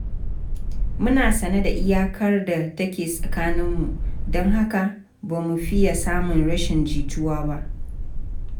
Muna sane da iyakar da take tsakaninmu, don haka ba mu fiya samun rashin jituwa ba.